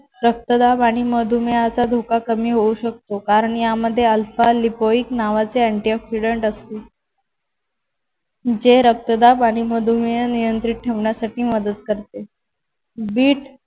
रक्तदाब आणि मधुमेहाचा धोका कमी होऊ शकतो. कारण यामध्ये alpha lipoic नावाचे antioxidants असते जे रक्तदाब आणि मधुमेह नियंत्रित ठेवण्यासाठी मदत करते. बीट